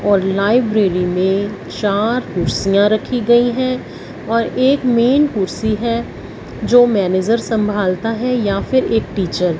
और लाइब्रेरी में चार कुर्सियां रखी गईं हैं और एक मैन कुर्सी है जो मैनेजर संभालता है या फिर एक टीचर ।